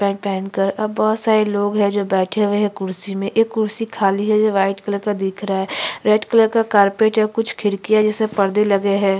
Paint पहन कर अब बहुत सारे लोग है जो बैठे हुए है कुर्सी में एक कुर्सी खाली है वाइट कलर का दिख रहा है रेड कलर का कारपेट है कुछ खिड़किया जैसे पर्दे लगे हैं।